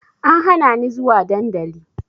An hana ni zuwa dandali